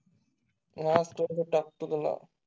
कुठे काय